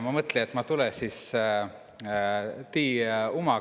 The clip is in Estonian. Hää kullõja!